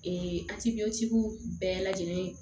Ee bɛɛ lajɛlen